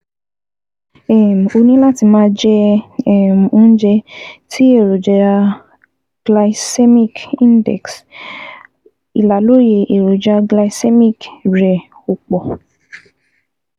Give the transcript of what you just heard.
um O ní láti máa jẹ um oúnjẹ tí èròjà glycemic index um ìlàlóye èròjà glycemic rẹ ò pọ̀